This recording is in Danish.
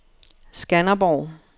Skanderborg